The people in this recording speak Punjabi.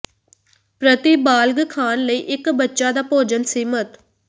ਪ੍ਰਤੀ ਬਾਲਗ ਖਾਣ ਲਈ ਇੱਕ ਬੱਚਾ ਦਾ ਭੋਜਨ ਸੀਮਿਤ